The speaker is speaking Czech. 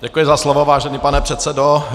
Děkuji za slovo, vážený pane předsedo.